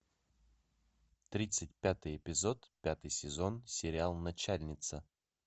тридцать пятый эпизод пятый сезон сериал начальница